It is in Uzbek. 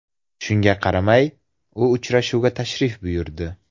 Shunga qaramay, u uchrashuvga tashrif buyurdi.